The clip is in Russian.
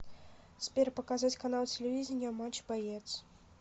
сбер показать канал телевидения матч боец